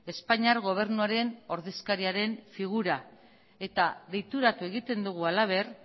espainiar gobernuaren ordezkariaren figura eta deituratu egiten dugu halaber